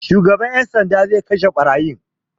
Shugaban 'yan sanda zai kashe ɓarayin.